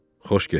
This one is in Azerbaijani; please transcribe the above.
Xoş getdin!